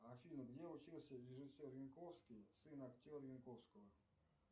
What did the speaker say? афина где учился режиссер янковский сын актера янковского